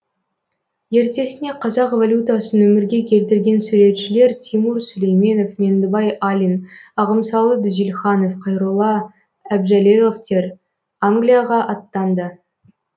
ертесіне қазақ валютасын өмірге келтірген суретшілер тимур сүлейменов меңдібай алин ағымсалы дүзелханов қайролла әбжәлеловтер англияға аттанды